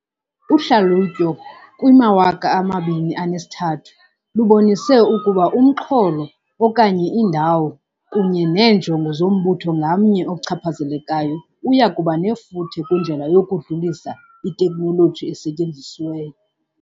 Uhlalutyo kwi-2003 lubonise ukuba umxholo, okanye indawo, kunye neenjongo zombutho ngamnye ochaphazelekayo uya kuba nefuthe kwindlela yokudlulisa iteknoloji esetyenzisiweyo.